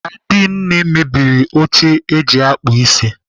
Adinne mebiri oche eji akpụ isi.